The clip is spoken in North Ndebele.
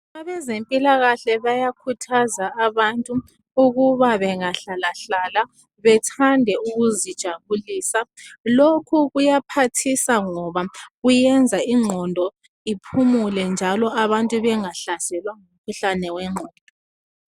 Abempilakahle bayakhuthaza abantu ukuba bengahlalahlala bethande ukuzijabulisa lokho kuyaphathisa ngoba kuyenza igqondo iphumule njalo abantu bengahlaselwa ngumkhuhlane wengqondo.